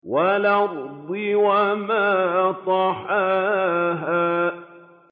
وَالْأَرْضِ وَمَا طَحَاهَا